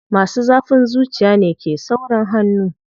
Masu zafin zuciya ne ke saurin hannu.